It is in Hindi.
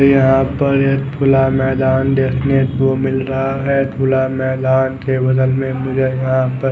मुझे यहाँ पर एक खुला मैदान को देखने को मिल रहा है खुला मैदान के बगल में मुझे यहाँ पर--